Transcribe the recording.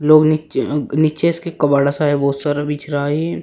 लोग नीचे अं नीचे इसके कबाड़ा सा है बहोत सारा बिछ रहा है।